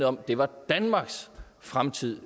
om det var danmarks fremtid